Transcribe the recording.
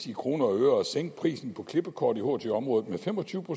i kroner og øre at sænke prisen på klippekort i ht området med fem og tyve